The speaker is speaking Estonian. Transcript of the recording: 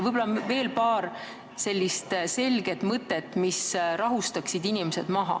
Võib-olla ütlete veel paar sellist selget mõtet, mis rahustaksid inimesed maha.